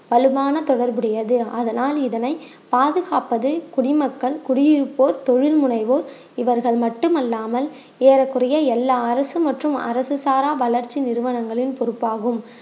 வலுவான தொடர்புடையது அதனால் இதனை பாதுகாப்பது குடிமக்கள் குடியிருப்போர் தொழில் முனைவோர் இவர்கள் மட்டுமல்லாமல் ஏறக்குறைய எல்லா அரசு மற்றும் அரசு சாரா வளர்ச்சி நிறுவனங்களின் பொறுப்பாகும்